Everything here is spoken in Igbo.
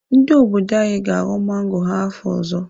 Ndị obodo anyị ga-aghọ mango ha afọ ọzọ.